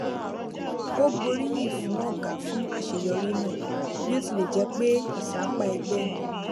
ó gboriyin fun ọga fún àṣeyọrí náà bí ó tilẹ jẹ pé ìsapá ẹgbẹ ni